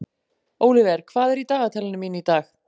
Ólíver, hvað er í dagatalinu mínu í dag?